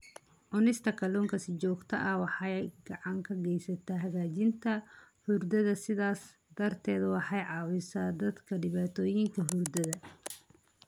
Cunista kalluunka si joogto ah waxay gacan ka geysataa hagaajinta hurdada, sidaas darteed waxay caawisaa dadka dhibaatooyinka hurdada.